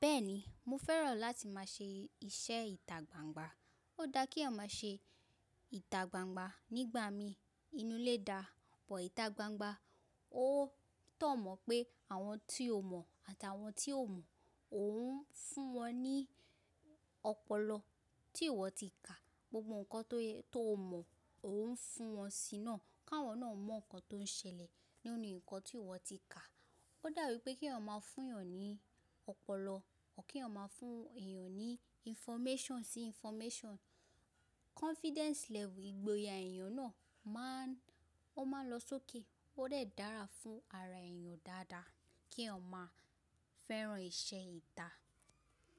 Bẹ́ẹ̀ni, mo fẹ́ràn láti máa ṣe iṣẹ́ ìtà gbangba. Ó dá kí eeyan ma ṣe ìtà gbangba nígbà mi inú ilé dá, but ìtà gbangba ó tọ́ mọ pé àwọn tí o mọ̀ àti àwọn tí o mọ̀, òun ń fún wọn ní ọpọlọ tí ìwọ ti kà. Gbogbo nǹkan tó mọ̀, òun ń fún wọn sí náà, káwọn náà mọ̀ nǹkan tó ń ṣẹlẹ̀ nínú nǹkan tí ìwọ ti kà. Ó dàbí pé kí eeyan ma fún èèyàn ní ọpọlọ, kí eeyan fún èèyàn ní information sí information confidence level ìgboyà èèyàn náà máa ń, ó máa lọ sókè, ó dè dára fún ara èèyàn dáadáa kí eeyan ma fẹ́ràn iṣẹ́ ìtà.